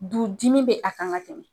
Du dimi be a kan ka tɛmɛ